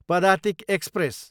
Padatik express